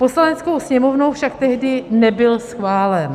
Poslaneckou sněmovnou však tehdy nebyl schválen.